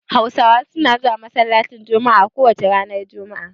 Hausawa suna zuwa masallacin jummuah a kowace ranar juma'a